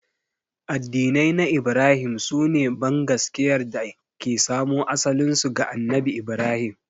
Addinai na Ibrahim su ne bangaskiyar da ke samo asalinsu ga Annabi Ibrahim.